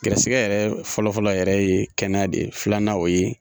Garisɛgɛ yɛrɛ fɔlɔfɔlɔ yɛrɛ ye kɛnɛya de ye, filanan o ye.